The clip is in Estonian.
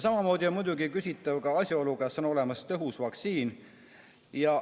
Samamoodi on muidugi küsitav asjaolu, kas on olemas tõhus vaktsiin.